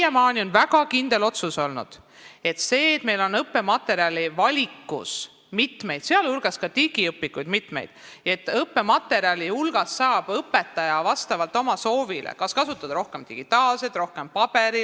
Siiamaani on olnud väga kindel otsus see, et meil on õppematerjali valikus mitmeid õpikuid, sealhulgas ka digiõpikuid, ja õpetaja saab vastavalt oma soovile kasutada kas rohkem digitaalset või rohkem paberil õppematerjali.